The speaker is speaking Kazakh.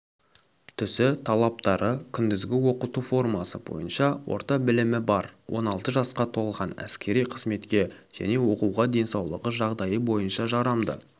түсі талаптары күндізгі оқыту формасы бойынша орта білімі бар он алты жасқа толған әскери қызметке және оқуға денсаулығы жағдайы бойынша жарамды